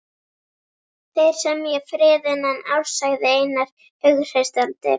Þeir semja frið innan árs, sagði Einar hughreystandi.